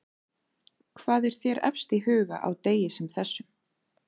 Hvað er þér efst í huga á degi sem þessum?